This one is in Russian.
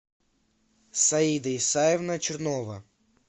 саида исаевна чернова